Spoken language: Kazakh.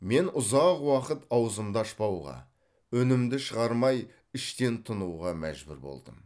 мен ұзақ уақыт аузымды ашпауға үнімді шығармай іштен тынуға мәжбүр болдым